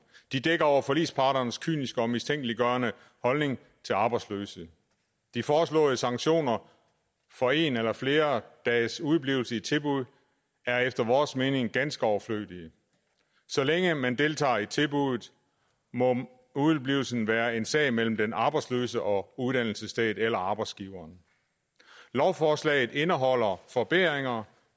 de dækker over forligsparternes kyniske og mistænkeliggørende holdning til arbejdsløse de foreslåede sanktioner for en eller flere dages udeblivelse i tilbud er efter vores mening ganske overflødige så længe man deltager i tilbuddet må udeblivelsen være en sag mellem den arbejdsløse og uddannelsesstedet eller arbejdsgiveren lovforslaget indeholder forbedringer